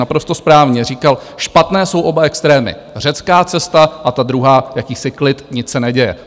Naprosto správně říkal, špatné jsou oba extrémy, řecká cesta a ta druhá, jakýsi klid, nic se neděje.